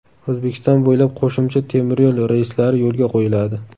O‘zbekiston bo‘ylab qo‘shimcha temiryo‘l reyslari yo‘lga qo‘yiladi.